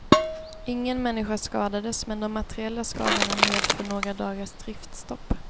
Ingen människa skadades men de materiella skadorna medför några dagars driftstopp.